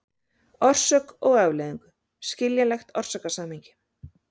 orsök og afleiðingu, skiljanlegt orsakasamhengi.